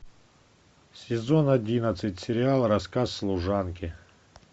сезон одиннадцать сериал рассказ служанки